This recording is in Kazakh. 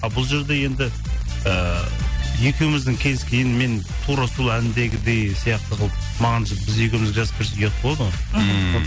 бұл жерде енді ііі екеуіміздің келіскенмен тура сол әндегідей сияқты қылып маған біз екеуімізге жазып берсе ұят болады ғой ммм